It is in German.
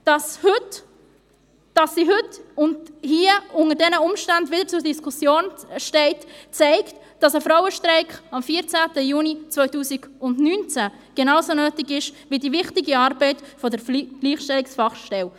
Dass sie hier und heute unter diesen Umständen wieder zur Diskussion steht, zeigt, dass ein Frauenstreik am 14. Juni 2019 genauso nötig ist wie die wichtige Arbeit der Gleichstellungsfachstelle.